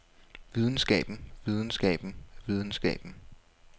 videnskaben videnskaben videnskaben